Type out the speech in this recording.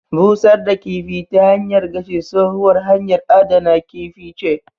Busar da kifi ta hanyar gashi, tsohuwar hanyar adana kifi ce.